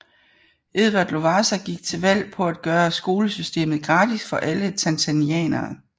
Edward Lowassa gik til valg på at gøre skolesystemet gratis for alle tanzanianere